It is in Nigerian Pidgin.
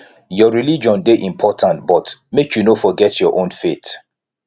your religion dey important but make you no forget your own faith